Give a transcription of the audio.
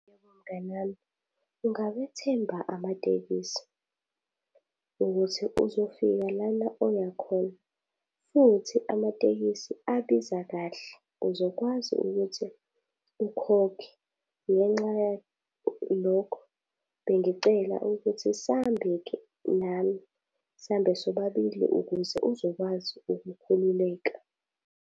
Mngani wami, ungawethemba amatekisi, ukuthi uzofika lana oya khona. Futhi amatekisi abiza kahle, uzokwazi ukuthi ukhokhe. Ngenxa yalokho bengicela ukuthi sihambe-ke nami, sihambe sobabili ukuze uzokwazi ukukhululeka.